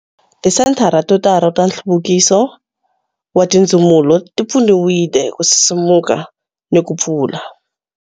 Tisenthara to tala ta Nhluvukiso wa Tindzumulo ti pfuniwile ku sisimuka ni ku pfula.